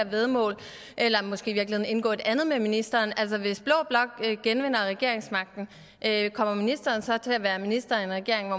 væddemål eller måske i virkeligheden indgå et andet med ministeren hvis blå blok genvinder regeringsmagten kommer ministeren så til at være minister i en regering